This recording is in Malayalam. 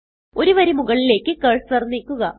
ഒരു വരി മുകളിലേക്ക് കർസർ നീക്കുക